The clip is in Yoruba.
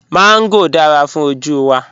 Mángò dára fún ojú wa